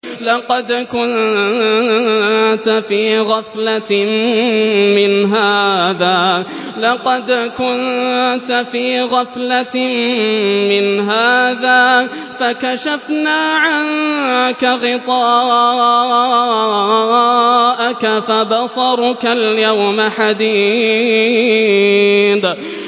لَّقَدْ كُنتَ فِي غَفْلَةٍ مِّنْ هَٰذَا فَكَشَفْنَا عَنكَ غِطَاءَكَ فَبَصَرُكَ الْيَوْمَ حَدِيدٌ